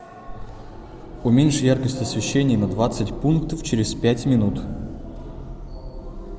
уменьши яркость освещения на двадцать пунктов через пять минут